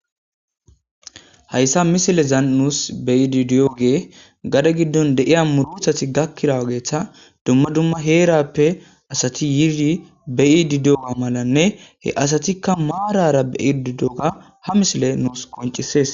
hayssa misilezan nuus beyidi di'ogey gade giddon de'iya murotati gakkirawageeta dumma dumma heerappe asati yiri beyididiyoga malanne he asatikka maarara beyididoga ha misiley nuus qoncisees